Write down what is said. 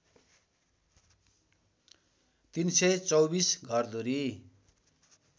३२४ घरधुरी